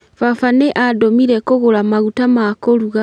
Baba nĩ andũmire kũgũra maguta ma kũruga